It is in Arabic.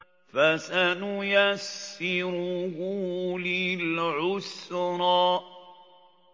فَسَنُيَسِّرُهُ لِلْعُسْرَىٰ